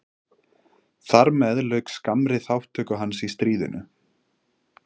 Þar með lauk skammri þátttöku hans í stríðinu.